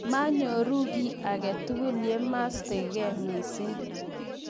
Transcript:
manyoru kiy age tugul ye ma masta gei mising